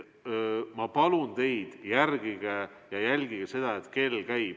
Ma palun teid, jälgige seda, et kell käib!